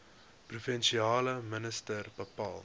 provinsiale minister bepaal